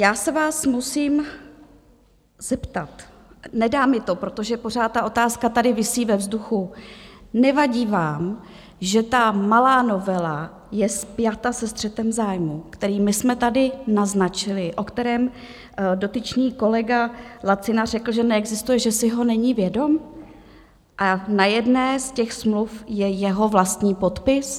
Já se vás musím zeptat, nedá mi to, protože pořád ta otázka tady visí ve vzduchu: Nevadí vám, že ta malá novela je spjata se střetem zájmů, který my jsme tady naznačili, o kterém dotyčný kolega Lacina řekl, že neexistuje, že si ho není vědom, a na jedné z těch smluv je jeho vlastní podpis?